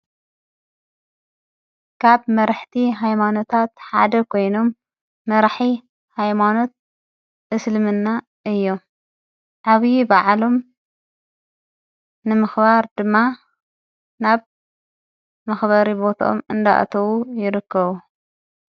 ካብ መርሕቲ ኃይማኖታት ሓደ ኮይኖም መራሒ ኃይማኖት እስልምና እዮ ዓብዪ በዓሎም ንምኽባር ድማ ናብ መኽባሪ ቦታኦም እንዳኣተዉ ይርከቡ።